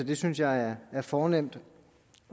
det synes jeg er fornemt